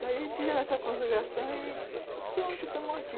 Daí fizeram essa consagração e pronto, estamos aqui.